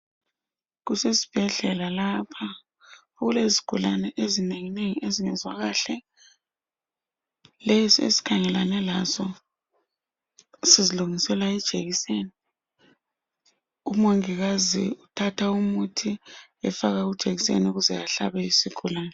Kusesibhedlela lapha okulezigulani ezinenginengi ezingezwa kahle lesi esikhangelane laso sizilungisela ijekiseni umongikazi uthatha umuthi efaka kujekiseni ukuze ehlabe isigulani